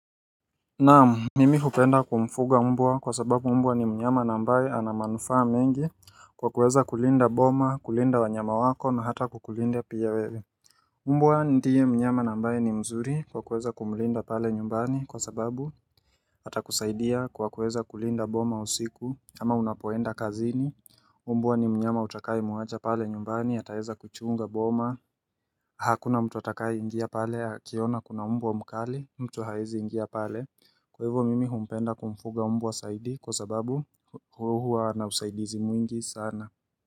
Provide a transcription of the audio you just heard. Naam mimi hupenda kumfuga mbwa kwa sababu mbwa ni mnyama ambaye ana manufaa mengi kwa kuweza kulinda boma kulinda wanyama wako na hata kukulinda pia wewe mbwa ndiye mnyama ambaye ni mzuri kwa kuweza kumulinda pale nyumbani kwa sababu atakusaidia kwa kuweza kulinda boma usiku ama unapoenda kazini mbwa ni mnyama utakayemuacha pale nyumbani ataweza kuchunga boma Hakuna mtu atakaye ingia pale akiona kuna mbwa mkali mtu hawezi ingia pale Kwa hivo mimi humpenda kumfuga mbwa zaidi kwa sababu huwa na usaidizi mwingi sana.